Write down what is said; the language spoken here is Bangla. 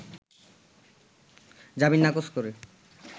জামিন নাকচ করে